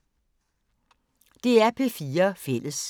DR P4 Fælles